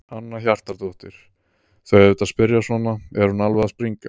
Hanna Hjartardóttir: Þau auðvitað spyrja svona, er hún alveg að springa?